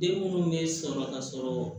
Den munnu be sɔrɔ ka sɔrɔ